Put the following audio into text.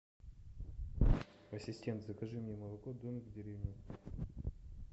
ассистент закажи мне молоко домик в деревне